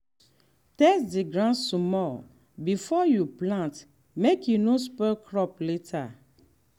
test the ground small before you plant make e no spoil crop later.